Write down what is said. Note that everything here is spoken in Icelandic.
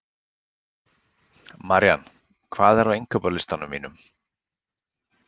Marían, hvað er á innkaupalistanum mínum?